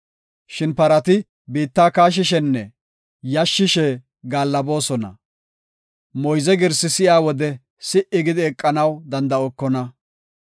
Shin parati biitta kaashishenne yashisishe gaallaboosona; Moyze girsi si7iya wode si77i gidi eqanaw danda7okona.